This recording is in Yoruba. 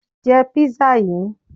Je pizza yìí